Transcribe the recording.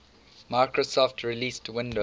microsoft released windows